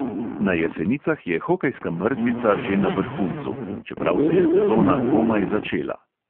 Na jesenicah je hokejska mrzlica že na vrhuncu, čeprav se je sezona komaj začela.